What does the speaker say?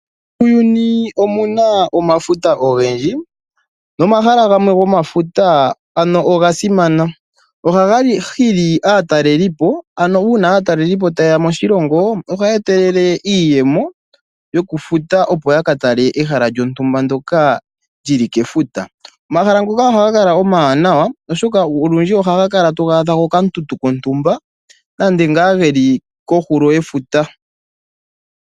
Muuyuni omu na omafuta ogendji nomahala gamwe gomafuta oga simana. Ohaga hili aatalelipo, ano uuna aatalelipo taye ya moshilongo, ohaye etelele iiyemo yokufuta, opo ya ka tale ehala lyontumba ndyoka li li kefuta. Omahala ngoka ohaga kala omawanawa, oshoka olundji ohaga kala taga adhika pokatuntu kontuma nenge ngaa ge li kohulo yefuta.